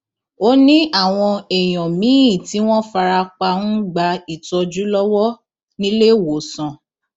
ó ní àwọn èèyàn míín tí wọn fara pa ń gba ìtọjú lọwọ níléewọsàn